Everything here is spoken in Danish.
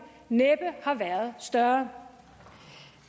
næppe har været større